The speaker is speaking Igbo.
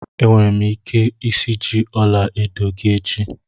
Enwere m ike isiji ọla edo gị echi